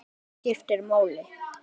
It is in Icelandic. Ekkert annað skiptir máli.